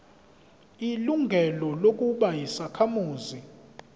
ilungelo lokuba yisakhamuzi